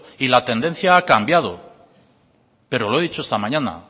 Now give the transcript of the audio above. y la tendencia ha cambiado pero lo he dicho esta mañana